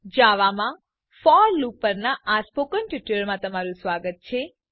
જાવામાં for loop પરના spoken ટ્યુટોરીયલમાં તમારું સ્વાગત છે